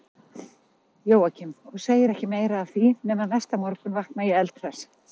Jóakim, og segir ekki meira af því, nema næsta morgun vakna ég eldhress.